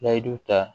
Layidu ta